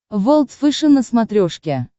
волд фэшен на смотрешке